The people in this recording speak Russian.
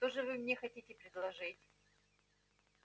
что же вы мне хотите предложить